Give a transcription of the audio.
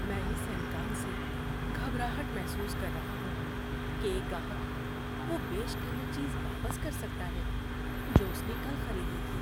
میں اس امکان سے گھبراہٹ محسوس کر رہا ہوں کہ ایک گاہک وہ بیش قیمت چیز واپس کر سکتا ہے جو اس نے کل خریدی تھی۔